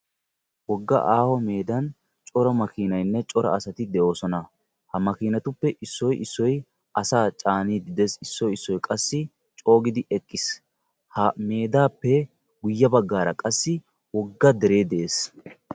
Wogga aaho meedan cora asatinne cora makkiinay de'ees. Ha makiinatuppe issoy issoy asaa coogid eqqis. Ha meedaappe guye bagaara qassi woga deree de'ees.